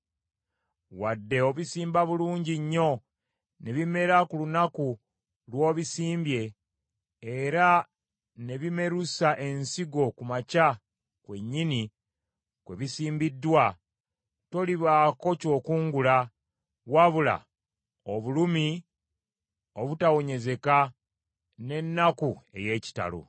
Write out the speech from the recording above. Wadde obisimba bulungi nnyo ne bimera ku lunaku lw’obisimbye, era ne bimerusa ensigo ku makya kwennyini kwe bisimbiddwa, tolibaako ky’okungula wabula obulumi obutawonyezeka n’ennaku ey’ekitalo.